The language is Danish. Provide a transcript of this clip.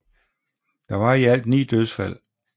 Der var i alt 9 dødsfald